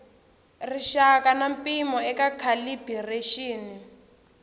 rixaka na mpimo eka calibiraxini